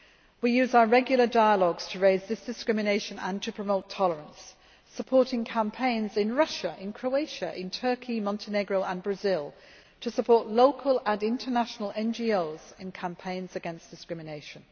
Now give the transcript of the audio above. We use our regular dialogues to raise this discrimination and to promote tolerance, supporting campaigns in Russia, Croatia, Turkey, Montenegro and Brazil to support local and international NGOs in campaigns against discrimination.